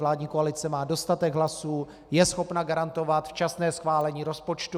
Vládní koalice má dostatek hlasů, je schopna garantovat včasné schválení rozpočtu.